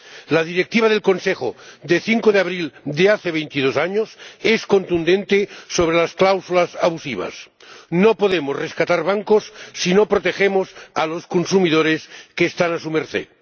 La Directiva del Consejo de 5 de abril de hace veintidós años es contundente sobre las cláusulas abusivas no podemos rescatar bancos si no protegemos a los consumidores que están a su merced.